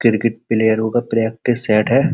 Cricket प्लयेरो का practice set है।